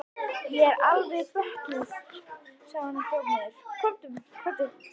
Ég er alveg bötnuð, sagði hún og hljóp niður.